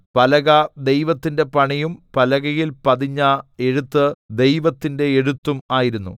പലക ദൈവത്തിന്റെ പണിയും പലകയിൽ പതിഞ്ഞ എഴുത്ത് ദൈവത്തിന്റെ എഴുത്തും ആയിരുന്നു